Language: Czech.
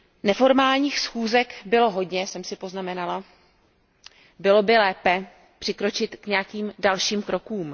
Neformálních schůzek bylo hodně, jak jsem si poznamenala, bylo by lépe přikročit k nějakým dalším krokům.